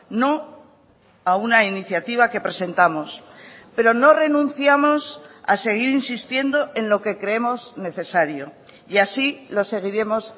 no a una iniciativa que presentamos pero no renunciamos a seguir insistiendo en lo que creemos necesario y así lo seguiremos